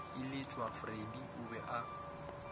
iletšwa freddie o be a